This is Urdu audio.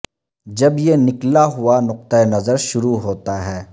جب یہ نکلا ہوا نقطہ نظر شروع ہوتا ہے